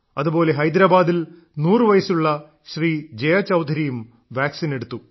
അതുപോലെ ഹൈദരാബാദിൽ 100 വയസ്സുള്ള ശ്രീ ജയ ചൌധരിയും വാക്സിൻ എടുത്തു